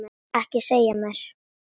Ekki segja mér,